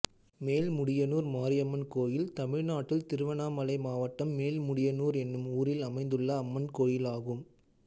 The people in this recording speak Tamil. மேல்முடியனூர் மாரியம்மன் கோயில் தமிழ்நாட்டில் திருவண்ணாமலை மாவட்டம் மேல்முடியனூர் என்னும் ஊரில் அமைந்துள்ள அம்மன் கோயிலாகும்